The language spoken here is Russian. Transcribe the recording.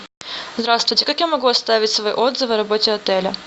здравствуйте как я могу оставить свой отзыв о работе отеля